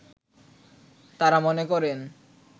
তারা মনে করেন